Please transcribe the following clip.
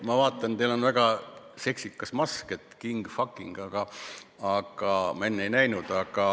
Ma vaatan, teil on väga seksikas mask, "King of fucking", ma enne ei näinud.